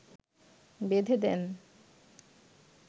বেঁধে দেন